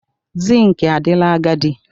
Zinc adịla agadi.